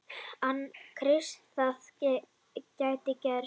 Anna Kristín: Það gæti gerst.